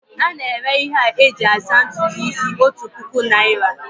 A na-ere ihe a eji asa ntutu isi otu puku naira